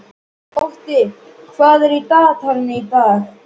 Otti, hvað er í dagatalinu í dag?